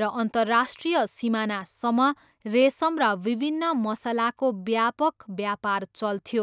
र अन्तर्राष्ट्रिय सिमानासम्म रेसम र विभिन्न मसलाको व्यापक व्यापार चल्थ्यो।